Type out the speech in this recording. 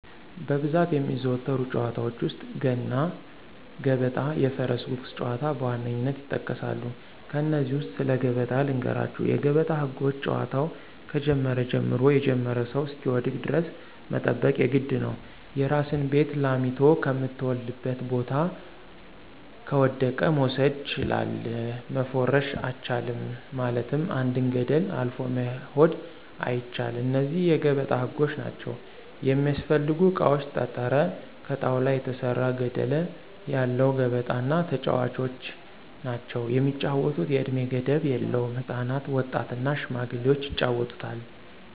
በብዛት የሚዘወተሩ ጨዋታዎች ውስጥ፦ ገና ገበጣ የፈረስ ጉጉስ ጨዋታዎች በዋነኝነት ይጠቀሳሉ። ከነዚህ ውስጥ ስለ ገበጣ ልንገራችሁ የገበጣ ህጎች ጨዋታው ከጀመረ ጀምሮ የጀመረው ሰው እሰሚወድቅ ደረስ መጠበቅ የግድ ነው፦ የራሲን ቤት ላሚቶ ከምተወልድበት ቦታ ከወደቀ መውሰድ ችላል፣ መፎረሽ አቻልም ማለትም አንድን ገደል አልፎ መሆድ አይቻል እነዚህ የገበጣ ህጎች ናቸው። የሚስፈልጉ እቃዎች ጠጠረ፣ ከጣውላ የተሰራ ገደለ ያለው ገበጣ እና ተጨዋቾች ናቸው። የሚጫወቱት የእድሜ ገደብ የለውም ህፃናት፣ ወጣት እና ሽማግሌዎች ይጫወቱታል።